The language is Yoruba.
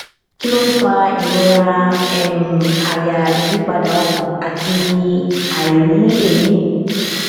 kí ló ń fa ìrora um àyà ìyípadà ọkàn àti àìrí èmí